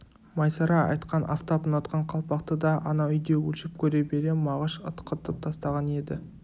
майсара айтқан афтап ұнатқан қалпақты да анау үйде өлшеп көре бере мағыш ытқытып тастаған еді